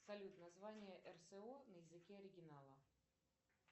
салют название рсо на языке оригинала